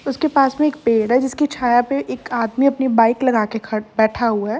उसके पास में एक पेड़ है जिसकी छाया पे एक आदमी अपनी बाइक लगा के ख बैठा हुआ है।